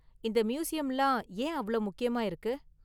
இந்த மியூசியம்லாம் ஏன் அவ்ளோ முக்கியமா இருக்கு?